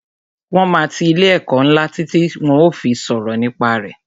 Wọn máa ti ilé ẹ̀kọ́ ńlá títí tí wón ó fi sọ̀rọ̀ nípa re